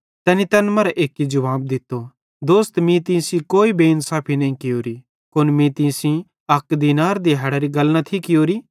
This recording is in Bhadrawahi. तैनी तैन मरां एक्की जुवाब दित्तो दोस्त मीं तीं सेइं कोई बेइन्साफी नईं कियोरी कुन मीं तीं सेइं अक दीनार दिहैड़री गल न थी कियोरी